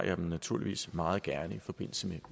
jeg dem naturligvis meget gerne i forbindelse med